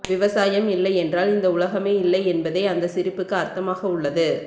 விவசாயம் இல்லையென்றால் இந்த உலகமே இல்லை என்பதே அந்த சிரிப்புக்கு அர்த்தமாக உள்ளது